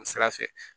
Nin sira fɛ